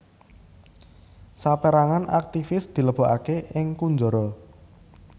Saperangan aktivis dilebokake ing kunjara